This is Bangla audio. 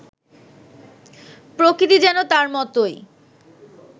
প্রকৃতি যেন তার মতোই